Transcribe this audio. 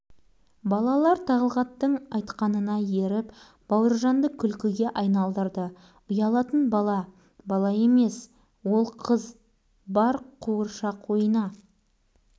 бұл ұялшақ емес қорқақ құрылысшылардан қорқып тұр бауыржанға еңді бұл ойынның қызығы азайды шеттей берген балалар